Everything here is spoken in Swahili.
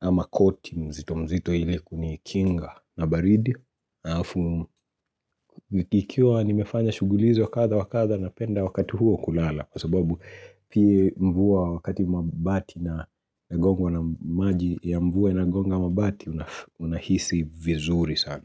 ama koti mzito mzito ili kunikinga na baridi. Ikiwa nimefanya shuguli hizo wa kadha wakadha na penda wakati huo kulala Kwa sababu pia mvua wakati mabati na gongwa na maji ya mvua inagonga mabati una hisi vizuri sana.